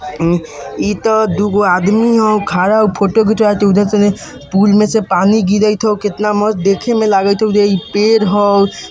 इ त दुगो आदमी ह खड़ा फोटो खिचवावइत हई उधर से पूल में से पानी गिरी तो किनता मस्त देखे में लगई थउ ये पेड़ हओ --